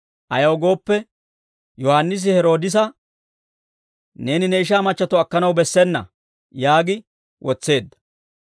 Ayaw gooppe, Yohaannisi Heroodisa, «Neeni ne ishaa machchatto akkanaw bessena» yaagi wotseedda.